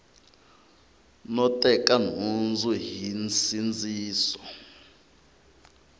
no teka nhundzu hi nsindziso